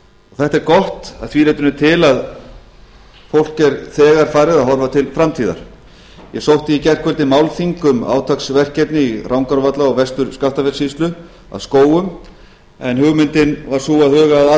þetta er gott að því leytinu til að fólk er þegar farið að horfa til framtíðar ég sótti í gærkvöldi málþing um átaksverkefni í rangárvalla og vestur skaftafellssýslu að skógum en hugmyndin var sú að huga að